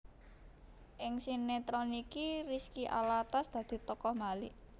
Ing sinetron iki Rizky Alatas dadi tokoh Malik